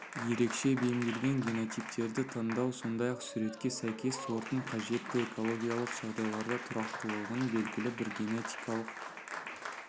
ерекше бейімделген генотиптерді таңдау сондай-ақ суретке сәйкес сорттың қажетті экологиялық жағдайларда тұрақтылығын белгілі бір генетикалық